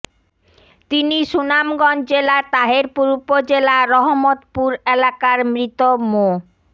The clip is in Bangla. তিনি সুনামগঞ্জ জেলার তাহেরপুর উপজেলার রহমতপুর এলাকার মৃত মো